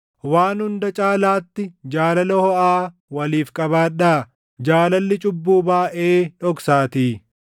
Waan hunda caalaatti jaalala hoʼaa waliif qabaadhaa; jaalalli cubbuu baayʼee dhoksaatii.